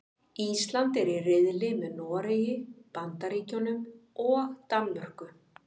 Ísland er í riðli með Noregi, Bandaríkjunum og Danmörku.